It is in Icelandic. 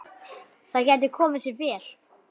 Það gæti komið sér vel.